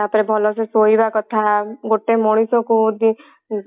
ତାପରେ ଭଲ ସେ ଶୋଇବା କଥା ଗୋଟେ ମଣିଷ କୁ